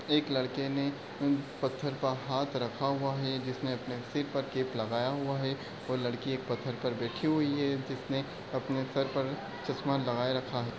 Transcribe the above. एक लड़के ने उन पत्थर पे हाथ रखा हुआ है जिसने अपने सिर पर केप लगाया हुआ है और लड़की एक पत्थर पे बैठी हुई है जिसने अपने सर पर चश्मा लगाये रखा है।